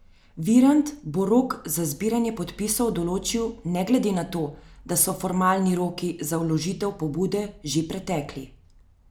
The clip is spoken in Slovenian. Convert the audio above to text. Virant bo rok za zbiranje podpisov določil ne glede na to, da so formalni roki za vložitev pobude že pretekli.